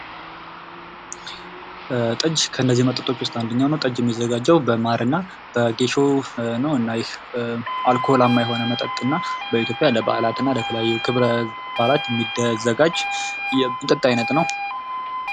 ጠጅ ከነዚህ መጠጦች ዉስጥ አንደኛው ነው። ጠጅ የሚዘጋጀው በማርና በጌሾ ነው እና ይህ አልኮላማ የሆነ መጠጥ እና በኢትዮጵያ ለበዓላትና ለተለያዩ ክበረ-በዓላት የሚዘጋጅ የመጠጥ አይነት ነው።